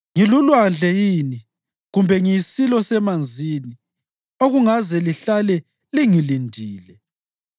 Ngilulwandle yini, kumbe ngiyisilo semanzini okungaze lihlale lingilindile?